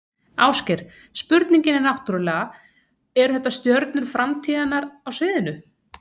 Ásgeir, spurningin er náttúrulega, eru þetta stjörnur framtíðarinnar á sviðinu?